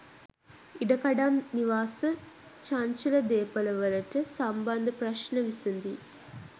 ඉඩකඩම් නිවාස චංචල දේපලවලට සම්බන්ධ ප්‍රශ්න විසඳී